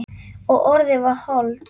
Og orðið varð hold.